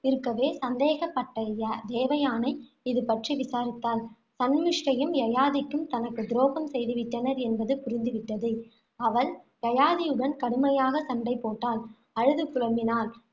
இருக்கவே, சந்தேகப்பட்ட தேவயானை இதுபற்றி விசாரித்தாள். சன்மிஷ்டையும், யயாதிக்கும் தனக்கு துரோகம் செய்துவிட்டனர் என்பது புரிந்து விட்டது. அவள் யயாதியுடன் கடுமையாக சண்டை போட்டாள். அழுது புலம்பினாள்.